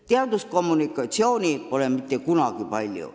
Teaduskommunikatsiooni pole mitte kunagi palju.